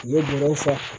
U ye dongo fɔ